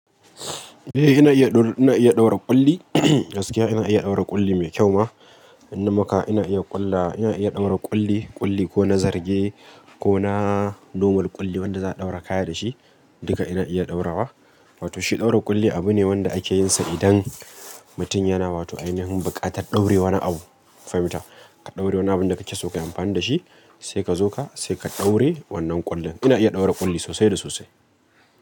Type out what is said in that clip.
Eh ina iya, ina iya ɗaura ƙulli. Gaskiya ina iya ɗaura ƙulli mai kyau ma. Ina maka, ina iya ƙulla, ina iya ɗaura ƙulli, ƙulli ko na zarge ko na noma ƙulli wanda za a ɗaura kaya da shi duka ina iya ɗaura wa. Wato shi ɗaura ƙulli abu ne wanda ake yin sa idan mutum yana, wato ainihin buƙatar ɗaure wani abu. Fahimta, ka ɗaure wani abun da kake so ka yi amfani da shi sai ka zo ka, sai ka ɗaure wannan ƙullin. Ina iya ɗaura ƙulli sosai da sosai.